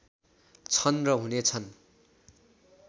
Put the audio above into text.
छन् र हुने छन्